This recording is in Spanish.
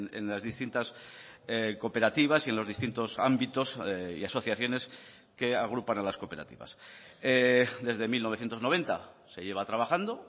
en las distintas cooperativas y en los distintos ámbitos y asociaciones que agrupan a las cooperativas desde mil novecientos noventa se lleva trabajando